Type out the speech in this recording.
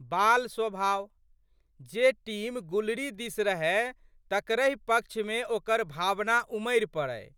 बाल स्वभाव। जे टीम गुलरी दिस रहए तकरहि पक्षमे ओकर भावना उमरि पड़ै।